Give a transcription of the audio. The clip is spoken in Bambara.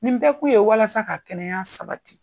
Nin bɛɛ kun ye walasa ka kɛnɛya sabati